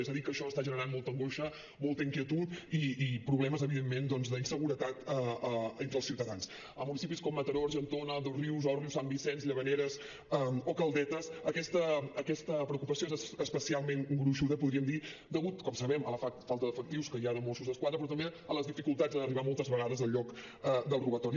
és a dir que això està generant molta angoixa molta inquietud i problemes evidentment d’inseguretat entre els ciutadansa municipis com mataró argentona dosrius òrrius sant vicenç llavaneres o caldetes aquesta preocupació és especialment gruixuda podríem dir degut com sabem a la falta d’efectius que hi ha de mossos d’esquadra però també a les dificultats en arribar moltes vegades al lloc del robatori